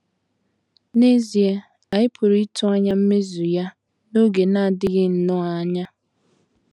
N’ezie, anyị pụrụ ịtụ anya mmezu ya n’oge na - adịghị nnọọ anya.